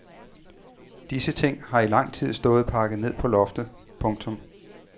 Disse ting har i lang tid stået pakket ned på loftet. punktum